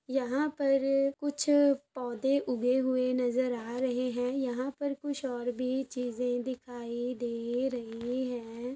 यहाँ पर कुछ पौधे उगे हुए नजर आ रहे है यहाँ पर कुछ और भी चीजे दिखाई दे रही है।